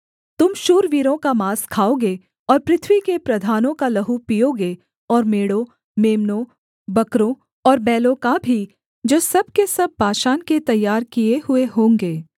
तुम शूरवीरों का माँस खाओगे और पृथ्वी के प्रधानों का लहू पीओगे और मेढ़ों मेम्नों बकरों और बैलों का भी जो सब के सब बाशान के तैयार किए हुए होंगे